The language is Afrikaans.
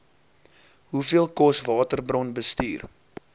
hoeveel kos waterbronbestuur